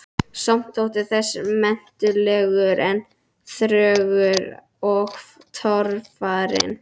Samt þótti þessi menntavegur enn þröngur og torfarinn.